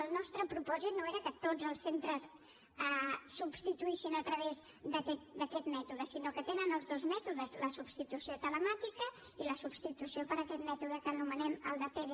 el nostre propòsit no era que tots els centres substituïssin a través d’aquest mètode sinó que tenen els dos mètodes la substitució telemàtica i la substitució per aquest mètode que anomenem el de pdi